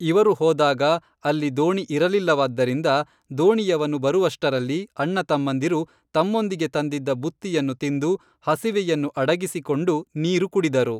ಇವರು ಹೋದಾಗ ಅಲ್ಲಿ ದೋಣಿ ಇರಲಿಲ್ಲವಾದ್ದರಿಂದ ದೋಣಿಯವನು ಬರುವಷ್ಟರಲ್ಲಿ ಅಣ್ಣ ತಮ್ಮಂದಿರು ತಮ್ಮೊಂದಿಗೆ ತಂದಿದ್ದ ಬುತ್ತಿಯನ್ನು ತಿಂದು ಹಸಿವೆಯನ್ನು ಅಡಗಿಸಿಕೊಂಡು ನೀರು ಕುಡಿದರು